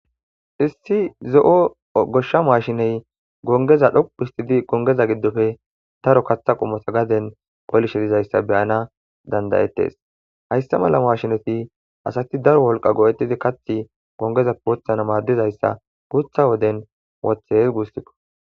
Issi zo'o goshsha mashshiney gonggeza dhoqqu hissitidi goongeza giddoppe daaro kaththa qommota gaaden qollishe diizayssa be7ana danda7ttes hayssa malla mashineti asati daaro wolqqa go77etidi kaththi goongezappe woththana maddizayssa guutha wodden wothtes gussuko.